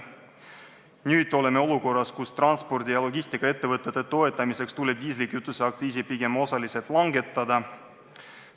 Nüüd oleme olukorras, kus transpordi- ja logistikaettevõtete toetamiseks tuleb diislikütuse aktsiisi pigem osaliselt langetada.